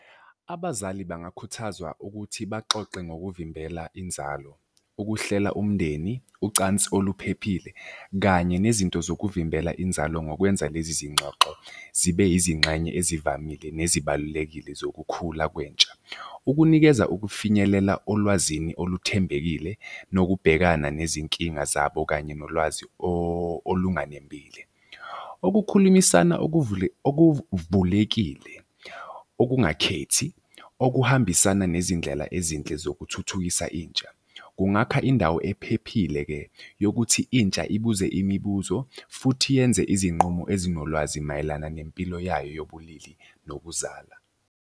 Abazali bengakhuthazwa ukuthi baxoxe ngokuvimbela inzalo, ukuhlela umndeni, ucansi oluphephile kanye nezinto zokuvimbela inzalo ngokwenza lezi zingxoxo zibe izingxenye ezivamile nezibalulekile zokukhula kwentsha. Ukunikeza ukufinyelela olwazini oluthembekile nokubhekana nezinkinga zabo kanye nolwazi olunganembile. Ukukhulumisana okuvulekile okungakhethi, okuhambisana nezindlela ezinhle zokuthuthukisa intsha. Kungakha indawo ephephile-ke yokuthi intsha ibuze imibuzo futhi yenze izinqumo ezinolwazi mayelana nempilo yayo yobulili nokuzala.